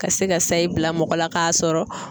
Ka se ka sayi bila mɔgɔ la k'a sɔrɔ